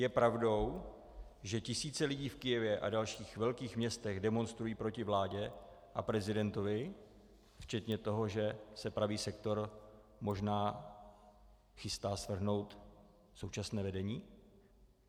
Je pravdou, že tisíce lidí v Kyjevě a dalších velkých městech demonstrují proti vládě a prezidentovi, včetně toho, že se Pravý sektor možná chystat svrhnout současné vedení?